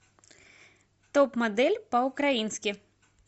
топ модель по украински